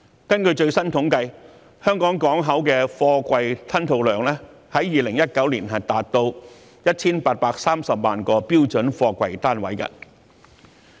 根據最新統計，香港港口的貨櫃吞吐量，在2019年達到 1,830 萬個標準貨櫃單位。